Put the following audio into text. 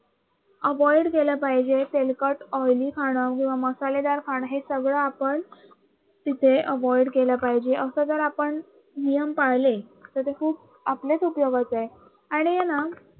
Avoide केल पाहिजे तेलकट Oili खाण किंवा मसालेदार खाण हे सगळं आपण तिथे Avoide केल पाहिजे असं जर आपण नियम पाळले तर ते खूप आपल्याच उपयोगात येईल आणि आहे. ना